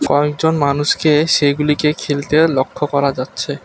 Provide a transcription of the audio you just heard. কয়েকজন মানুষকে সেগুলিকে খেলতে লক্ষ্য করা যাচ্ছে।